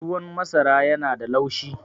tuwon masara yana da laushi